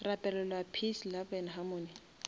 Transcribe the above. rapelelwa peace love and harmony